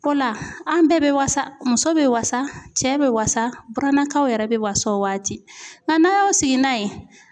O la an bɛɛ bɛ wasa muso bɛ wasa cɛ bɛ wasa burannakaw yɛrɛ bɛ wasa o waati nka n'a' y'aw sigi n'a ye